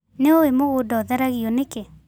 Nĩũĩ mũgũnda ũtheragio nĩkĩ.